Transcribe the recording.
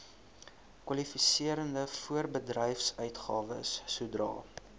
kwalifiserende voorbedryfsuitgawes sodra